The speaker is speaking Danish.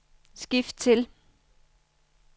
skift til